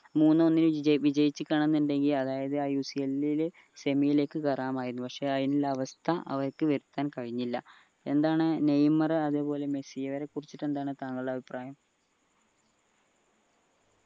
മൂന്ന് ഒന്നിന് വിജയിച് നിക്ക എന്നിണ്ടേൽ അതായത് ആ UCL ൽ semi യിലേക്ക് കയറാമായിരുന്നു പക്ഷെ അയിനുള്ള അവസ്ഥ അവർക്ക് വെക്കാൻ കഴിഞ്ഞില്ല എന്താണ് നെയ്മർ അതുപോലെ മെസ്സി ഇവരെ കുറിച്ച് എന്താണ് താങ്കളുടെ അഭിപ്രായ